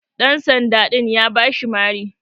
Ɗan sanda din ya bashi Mari.